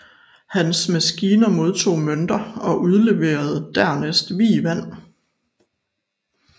Hans maskine modtog mønter og udleverede dernæst vievand